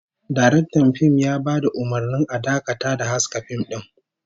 Daraktan fim ya bada umurnin a dakata da haska fim din